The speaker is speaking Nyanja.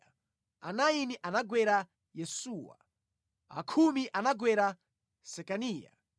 achisanu ndi chinayi anagwera Yesuwa, a khumi anagwera Sekaniya,